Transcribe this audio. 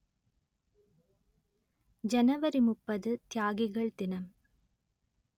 ஜனவரி முப்பது தியாகிகள் தினம்